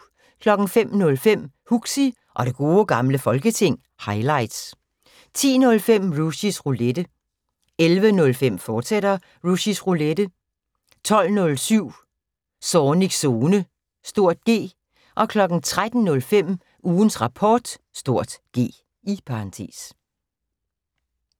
05:05: Huxi og Det Gode Gamle Folketing – highlights 10:05: Rushys Roulette 11:05: Rushys Roulette, fortsat 12:07: Zornigs Zone (G) 13:05: Ugens Rapport (G)